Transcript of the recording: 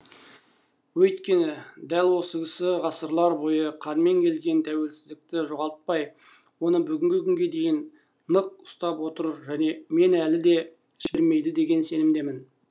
өйткені дәл осы кісі ғасырлар бойы қанмен келген тәуелсіздікті жоғалтпай оны бүгінгі күнге дейін нық ұстап отыр және мен әлі де жібермейді деген сенімдемін